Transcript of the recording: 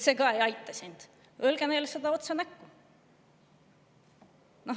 "See ei aita," öelge neile otse näkku.